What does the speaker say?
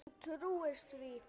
Hún trúir því.